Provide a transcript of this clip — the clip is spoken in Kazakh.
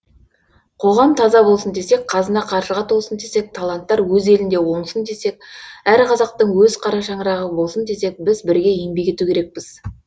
қоғам таза болсын десек қазына қаржыға толсын десек таланттар өз елінде оңсын десек әр қазақтың өз қара шаңырағы болсын десек біз бірге еңбек ету керекпіз